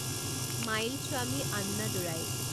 Mylswamy Annadurai